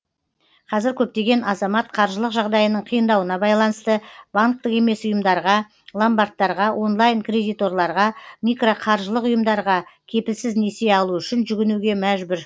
қазір көптеген азамат қаржылық жағдайының қиындауына байланысты банктік емес ұйымдарға ломбардтарға онлайн кредиторларға микроқаржылық ұйымдарға кепілсіз несие алу үшін жүгінуге мәжбүр